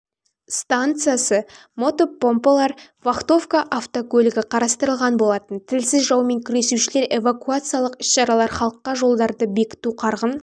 станциясы мотопомпалар вахтовка автокөлігі қатыстырылған болатын тілсіз жаумен күресушілер эвакуациялық іс-шаралар халыққа жолдарды бекіту қарғын